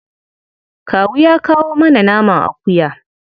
Kawu ya kawo mana naman akuya.